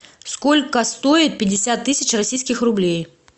сколько стоит пятьдесят тысяч российских рублей